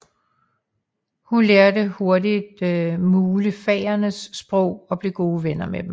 Hun lærer hurtigt mulefaernes sprog og bliver gode venner med dem